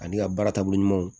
Ani ka baara taabolo ɲumanw